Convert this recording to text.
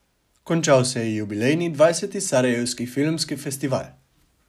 Končal se je jubilejni, dvajseti Sarajevski filmski festival.